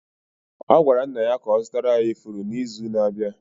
Ọ gwara nna ya ka ọ zụtara ya ifuru n’izu na-abịa